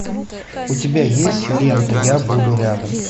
у тебя есть лента я буду рядом